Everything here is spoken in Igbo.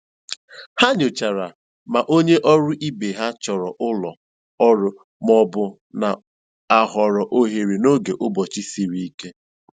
Ha nyochara ma onye ọrụ ibe ha chọrọ ụlọ ọrụ ma ọ bụ na-ahọrọ ohere n'oge ụbọchị siri ike.